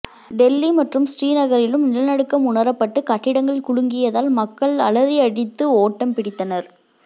டெல்லி மற்றும் ஸ்ரீநகரிலும் நிலநடுக்கம் உணரப்பட்டு கட்டிடங்கள் குலுங்கியதால் மக்கள் அலறியடித்து ஓட்டம் பிடித்தனர்